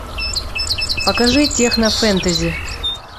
покажи технофэнтези